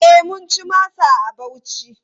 E, mun ci masa a Bauchi.